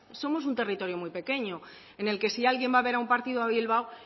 somos un territorio muy pequeño en el que si alguien va a ver un partido a bilbao